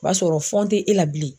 O b'a sɔrɔ tɛ e la bilen.